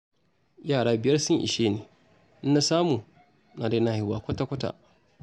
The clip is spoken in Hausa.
Yara biyar sun ishe ni, ina samu, na daina haihuwa kwata-kwata